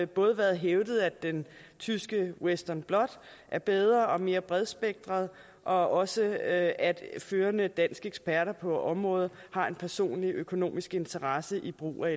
både været hævdet at den tyske western blot er bedre og mere bredspektret og også at førende danske eksperter på området har personlige økonomiske interesser i brug af